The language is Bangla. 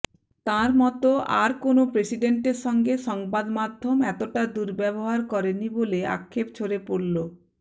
তাঁর মতো আর কোনও প্রেসিডেন্টের সঙ্গে সংবাদমাধ্যম এতটা দুর্ব্যবহার করেনি বলে আক্ষেপ ঝরে পড়ল